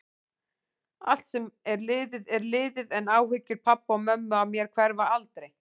Allt sem er liðið er liðið, en áhyggjur pabba og mömmu af mér hverfa aldrei.